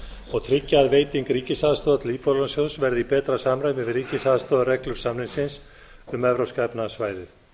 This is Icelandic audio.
og tryggja að veiting ríkisaðstoðar til íbúðalánasjóðs verði í betra samræmi við ríkisaðstoðarreglur samningsins um evrópska efnahagssvæðið